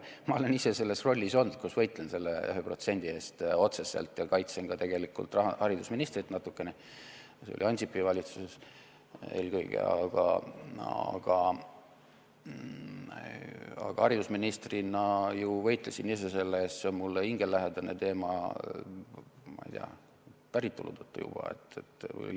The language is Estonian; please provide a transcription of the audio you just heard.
Ma olen ise selles rollis olnud, kui ma võitlesin selle 1% eest otseselt ja ma kaitsesin ka haridusministrit natukene, see oli Ansipi valitsuses eelkõige, aga haridusministrina ma võitlesin ise selle eest, see on mulle hingelähedane teema päritolu tõttu juba.